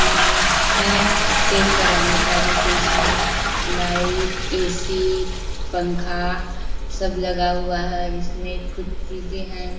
Clinic है check कराने का जो कि इसमें लाइट एसी पंखा सब लगा हुआ है इसमें कुछ चीजे है।